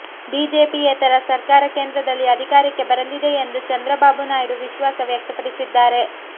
ಬಿಜೆಪಿಯೇತರ ಸರ್ಕಾರ ಕೇಂದ್ರದಲ್ಲಿ ಅಧಿಕಾರಕ್ಕೆ ಬರಲಿದೆ ಎಂದು ಚಂದ್ರಬಾಬು ನಾಯ್ಡು ವಿಶ್ವಾಸ ವ್ಯಕ್ತಪಡಿಸಿದ್ದಾರೆ